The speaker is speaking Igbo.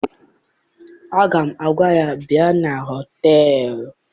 Aga m agwa ya, bịa na họteeeụ!